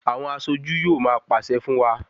Àwọn aṣojú yóò máa pàṣẹ fún wa.